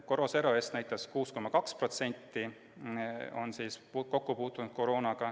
KoroSero-EST näitas, et 6,2% on koroonaga kokku puutunud.